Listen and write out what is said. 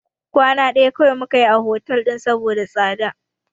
Kwana ɗaya kawai muka yi a hotel ɗin saboda tsada.